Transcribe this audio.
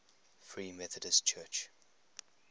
free methodist church